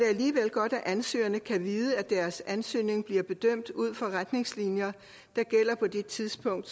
alligevel godt at ansøgerne kan vide at deres ansøgning bliver bedømt ud fra retningslinjer der gælder på det tidspunkt